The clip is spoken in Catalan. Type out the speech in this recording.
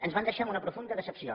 ens van deixar amb una profunda decepció